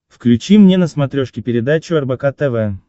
включи мне на смотрешке передачу рбк тв